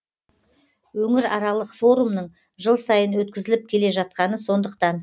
өңіраралық форумның жыл сайын өткізіліп келе жатқаны сондықтан